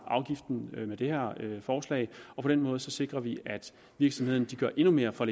afgiften med det her forslag og på den måde sikrer vi at virksomhederne gør endnu mere for